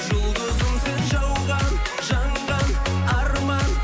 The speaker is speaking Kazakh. жұлдызым сен жауған жанған арман